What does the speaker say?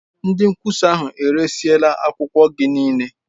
Ndị nkwụsa ahụ eresịla akwụkwọ gị niile.